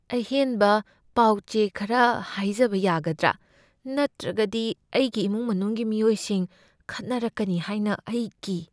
ꯑꯍꯦꯟꯕ ꯄꯥꯎ ꯆꯦ ꯈꯔ ꯍꯥꯏꯖꯕ ꯌꯥꯒꯗ꯭ꯔꯥ? ꯅꯠꯇ꯭ꯔꯒꯗꯤ ꯑꯩꯒꯤ ꯏꯃꯨꯡ ꯃꯅꯨꯡꯒꯤ ꯃꯤꯑꯣꯏꯁꯤꯡ ꯈꯠꯅꯔꯛꯀꯅꯤ ꯍꯥꯏꯅ ꯑꯩ ꯀꯤ꯫